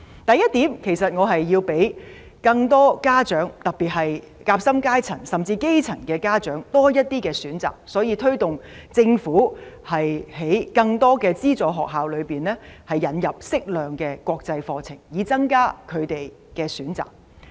第一點，我希望讓更多家長，特別是夾心階層，甚至基層家長有多些選擇，所以推動政府在更多資助學校引入適量國際課程，以增加他們的選擇。